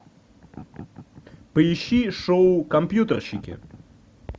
поищи шоу компьютерщики